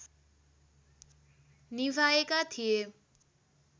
निभाएका थिए